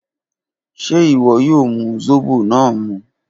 Ṣe iwọ yoo mu zobo naa mu?